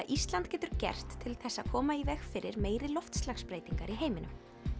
Ísland getur gert til að koma í veg fyrir meiri loftslagsbreytingar í heiminum